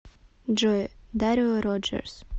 джой дарио роджерс